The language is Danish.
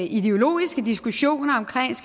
ideologiske diskussioner om